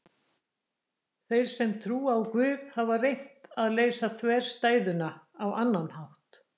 Þeir sem trúa á Guð hafa reynt að leysa þverstæðuna á annan hátt.